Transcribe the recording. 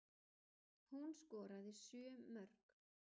Hún skoraði sjö mörk